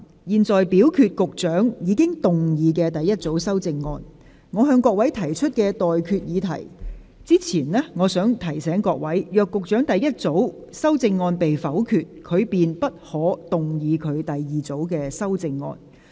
我就局長的第一組修正案提出待決議題前，我想提醒各位，若局長的第一組修正案被否決，他便不可動議他的第二組修正案。